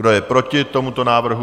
Kdo je proti tomuto návrhu?